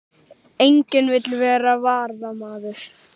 Enginn vill vera varamaður